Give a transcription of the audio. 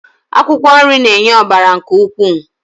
Akwụkwọ nri na-enye ọbara nke ukwuu.